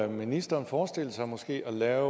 ministeren forestille sig måske at lave